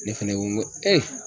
Ne fɛnɛ ko n ko